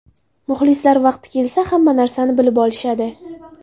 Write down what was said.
Muxlislar vaqti kelsa hamma narsani bilib olishadi.